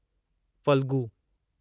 Phalgu